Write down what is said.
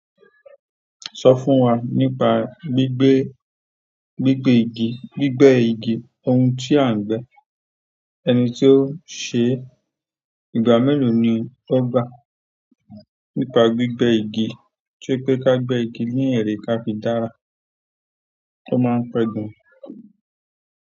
Sọ fún wa nípa gbígbẹ igi ohun tí à ń gbẹ́, ẹni tí ó ṣe, ìgbà mélòó ni ọ gbà. Nípa gbigbe igi ṣepe ka gbe igi ni ere ka fi dára to máa ń pẹ́ gan.